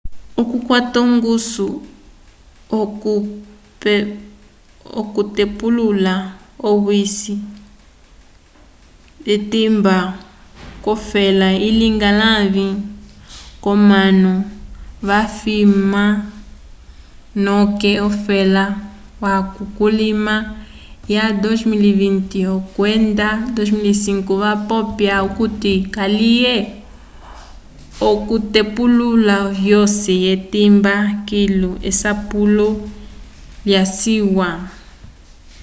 okukwata ongusu k'okutepulula owisi twimba k'ofela ilinga lãvi k'omanu vafwima noke ofela yaco kulima wa 2020 kwenda 2005 vapopya okuti kaliye okutepulula owisi twimba kilu esapulo lyaciwa